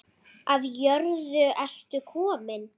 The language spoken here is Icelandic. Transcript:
Af jörðu ertu kominn.